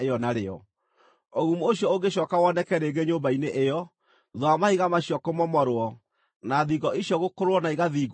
“Ũgumu ũcio ũngĩcooka woneke rĩngĩ nyũmba-inĩ ĩyo, thuutha wa mahiga macio kũmomorwo, na thingo icio gũkũrũrwo na igathiingwo rĩngĩ-rĩ,